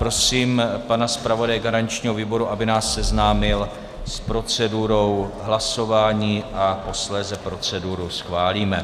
Prosím pana zpravodaje garančního výboru, aby nás seznámil s procedurou hlasování, a posléze proceduru schválíme.